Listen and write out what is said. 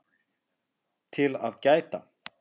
TIL AÐ GÆTA